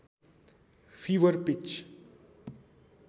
fibre pitch